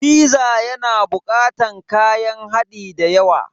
Fiza yana bukatar kayan hadi dayawa.